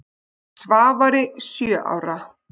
Svavari sjö ára.